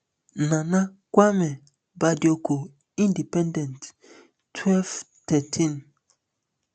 nana kwame bediako independent twelve thirteen